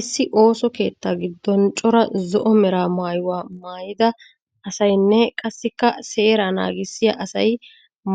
Issi ooso keettaa giddon cora zo'o mera maayuwa maayida asaynne qassikka seeraa naagissiya asay